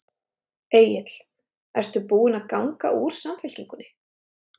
Egill: Ertu búin að ganga úr Samfylkingunni?